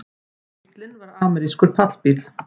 Bíllinn var amerískur pallbíll